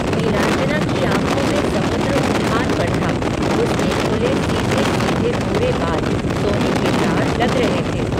नीलांजना की आँखों में समुद्र उफान पर था, उसके खुले सीधे सीधे भूरे बाल, सोने के तार, लग रहे थे